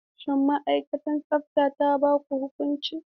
Shin ma'aikatar tsafta ta ba ku huƙunci?